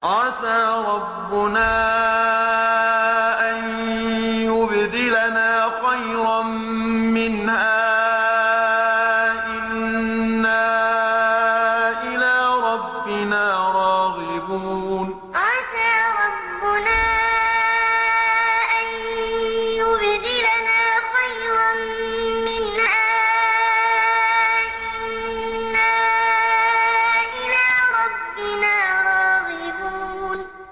عَسَىٰ رَبُّنَا أَن يُبْدِلَنَا خَيْرًا مِّنْهَا إِنَّا إِلَىٰ رَبِّنَا رَاغِبُونَ عَسَىٰ رَبُّنَا أَن يُبْدِلَنَا خَيْرًا مِّنْهَا إِنَّا إِلَىٰ رَبِّنَا رَاغِبُونَ